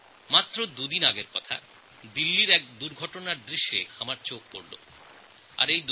মাত্র দুদিন আগে দিল্লিতে এক দুর্ঘটনার দৃশ্য আমার চোখে পড়ে